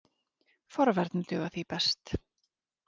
Forvarnir duga því best.